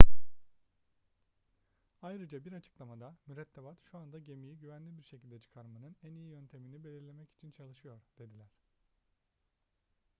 ayrıca bir açıklamada mürettebat şu anda gemiyi güvenli bir şekilde çıkarmanın en iyi yöntemini belirlemek için çalışıyor dediler